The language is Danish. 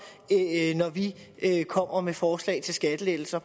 når vi kommer med forslag til skattelettelser